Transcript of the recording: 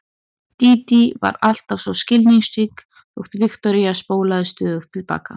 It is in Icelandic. Dídí var alltaf svo skilningsrík þótt Viktoría spólaði stöðugt til baka.